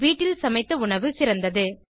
வீட்டில் சமைத்த உணவு சிறந்தது